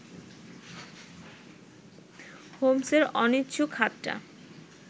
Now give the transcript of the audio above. হোমসের অনিচ্ছুক হাতটা